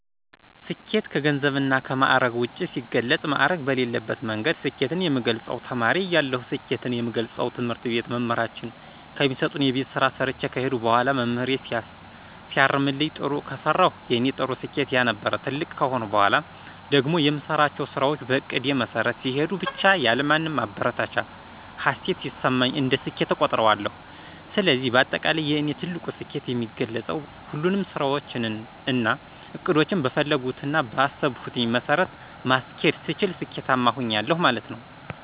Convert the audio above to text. ስኬት ከገንዘብ እና ከማዕረግ ውጭ ሲገለፅ ማዕረግ በሌለበት መንገድ ስኬትን የምገልፀው ተማሪ እያለሁ ስኬትን የምገልፀው ትምህርት ቤት መምህራችን ከሚሰጡን የቤት ስራ ሰርቸ ከሄድኩ በኋላ መምህሬ ሲያርምልኝ ጥሩ ከሰራሁ የኔ ጥሩ ስኬት ያ ነበር። ትልቅ ከሆንኩ በኋላ ደግሞ የምሰራቸው ስራዎች በእቅዴ መሠረት ሲሄዱ ብቻ ያለማንም ማበረታቻ ሀሴት ሲሰማኝ እንደ ስኬት እቆጥረዋለሁ። ስለዚህ በአጠቃላይ የእኔ ትልቁ ስኬት የሚገለፀው ሁሉንም ስራዎቸን እና እቅዶቸን በፈለግሁትና ቀአሰብኩት መሠረት ማስኬድ ስችል ስኬታማ ሆኛለሁ ማለት ነው።